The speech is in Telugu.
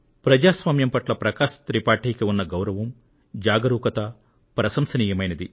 ప్రజాస్వామ్యం పట్ల శ్రీ ప్రకాశ్ త్రిపాఠీకి ఉన్న గౌరవం జాగరూకత ప్రశంసనీయమైంది